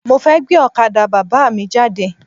Mo fẹ́ gbé ọ̀kadà Bàbá mi jáde.